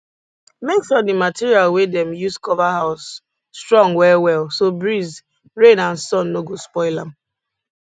make sure the material wey dem use cover house strong well well so breeze rain and sun no go spoil am